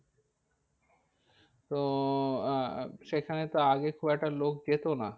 তো আহ সেখানে তো আগে খুব একটা লোক যেত না।